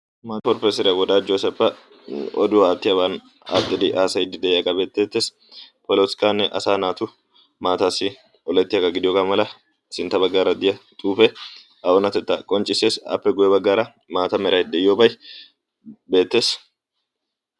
profesoriyaa wodaajo asappa oduwaa aattiyaaban attidi aasayiddi de'iyaagaa beetteettees polotikkanne asa naatu maataassi olettiyaagaa gidiyoogaa mala sintta baggaara diya xuufe a oonatettaa qonccissees appe guye baggaara maata meray de'iyoobai beettees